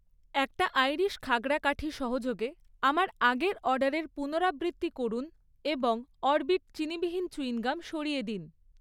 একটা আইরিস খাগড়া কাঠি সহযোগে আমার আগের অর্ডারের পুনরাবৃত্তি করুন এবং অরবিট চিনিবিহীন চুইংগাম সরিয়ে দিন।